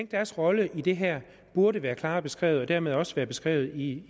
deres rolle i det her burde være klarere beskrevet og dermed også være beskrevet i